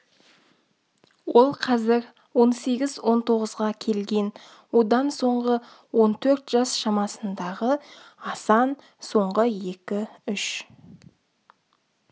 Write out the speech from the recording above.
ол қазір он сегіз он тоғызға келген одан соңғы он төрт жас шамасындағы асан соңғы екі-үш